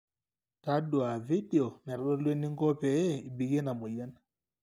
taduaa vedio naitodolu eninko pee ibikie ina mweyian